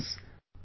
Friends,